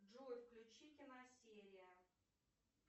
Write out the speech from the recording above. джой включи киносерия